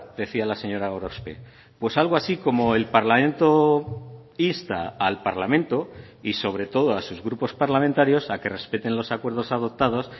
decía la señora gorospe pues algo así como el parlamento insta al parlamento y sobre todo a sus grupos parlamentarios a que respeten los acuerdos adoptados